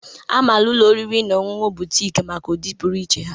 A maara ụlọ oriri na ọṅụṅụ Boutiki maka ụdị pụrụ iche ha.